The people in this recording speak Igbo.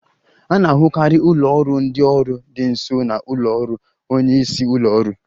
A na-ahụkarị ụlọ ọrụ ndị ọrụ dị nso na ụlọ ọrụ onye isi ụlọ ọrụ